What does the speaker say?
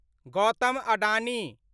Gautam Adani